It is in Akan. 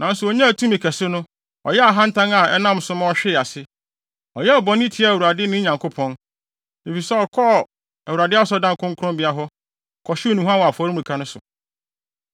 Nanso onyaa tumi kɛse no, ɔyɛɛ ahantan a ɛnam so ma ɔhwee ase. Ɔyɛɛ bɔne tiaa Awurade ne Nyankopɔn, efisɛ ɔkɔɔ Awurade Asɔredan kronkronbea hɔ, kɔhyew nnuhuam wɔ afɔremuka no so.